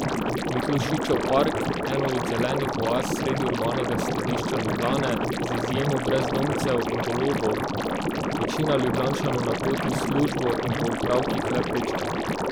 Miklošičev park, eno od zelenih oaz sredi urbanega središča Ljubljane, z izjemo brezdomcev in golobov večina Ljubljančanov na poti v službo in po opravkih le prečka.